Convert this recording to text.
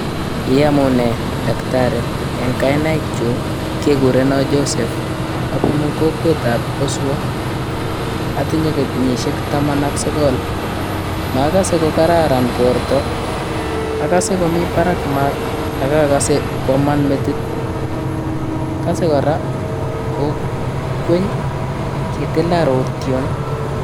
Iamune Daktari eng kainaikkyuk kekurenan Joseph, abunu kokwetab keswa atinye kenyishek taman ak sokol ,makase ko kararan borto akasema komi barak maat, akakase kwaman metit, akase kora ko konyor kitilan rotyon.